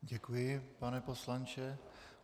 Děkuji, pane poslanče.